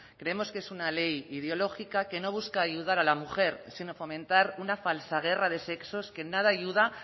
creemos que es una ley ideológica que no busca ayudar a la mujer sino fomentar una falsa guerra de sexos que en nada ayuda